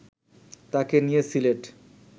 তাকে নিয়ে সিলেট